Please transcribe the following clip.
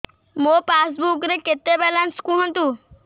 ମୋ ପାସବୁକ୍ ରେ କେତେ ବାଲାନ୍ସ କୁହନ୍ତୁ